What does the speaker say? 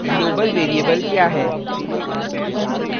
global global variable क्या है